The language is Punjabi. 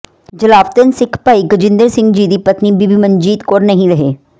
ਜਲਾਵਤਨ ਸਿੱਖ ਭਾਈ ਗਜਿੰਦਰ ਸਿੰਘ ਜੀ ਦੀ ਪਤਨੀ ਬੀਬੀ ਮਨਜੀਤ ਕੌਰ ਨਹੀਂ ਰਹੇ